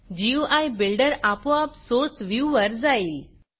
गुई builder आपोआप source व्ह्यूवर जाईल